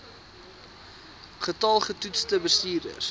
getal getoetste bestuurders